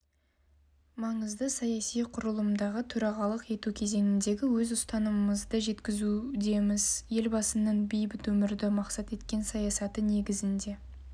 маңызды саяси құрылымдағы төрағалық ету кезеңіндегі өз ұстанымдарымызды жеткізудеміз елбасының бейбіт өмірді мақсат еткен саясаты негізінде